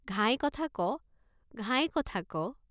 ঘাই কথা ক, ঘাই কথা ক।